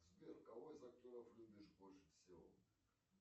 сбер кого из актеров любишь больше всего